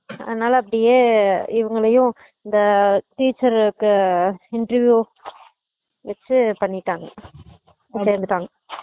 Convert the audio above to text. அதனால அப்படியே இவங்களையும் இந்த teacher கு interview வச்சு பண்ணிட்டாங்க செஞ்சுட்டாங்க